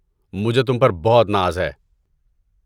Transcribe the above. مجھے تم پر بہت ناز ہے۔